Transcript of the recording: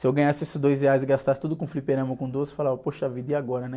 Se eu ganhasse esses dois reais e gastasse tudo com fliperama ou com doce, falava, poxa vida, e agora, né?